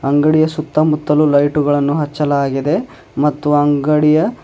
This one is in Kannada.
ಅಂಗಡಿಯ ಸುತ್ತಮುತ್ತಲು ಲೈಟುಗಳನ್ನು ಹಚ್ಚಲಾಗಿದೆ ಮತ್ತು ಅಂಗಡಿಯ--